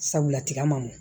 Sabula tiga ma nɔgɔn